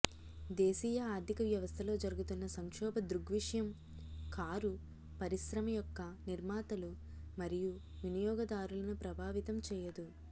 దేశీయ ఆర్థిక వ్యవస్థలో జరుగుతున్న సంక్షోభ దృగ్విషయం కారు పరిశ్రమ యొక్క నిర్మాతలు మరియు వినియోగదారులను ప్రభావితం చేయదు